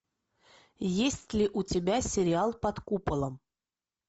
есть ли у тебя сериал под куполом